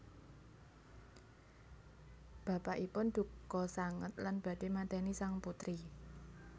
Bapakipun dukha sanget lan badhé mateni sang putri